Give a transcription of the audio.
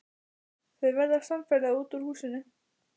Þau verða samferða út úr húsinu.